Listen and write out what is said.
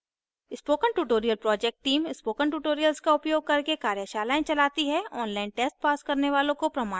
spoken tutorial project team spoken tutorials का उपयोग करके कार्यशालाएं चलती है online test pass करने वालों को प्रमाणपत्र देते हैं